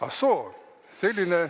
Ah soo!